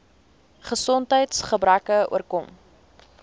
gesondheids gebreke oorkom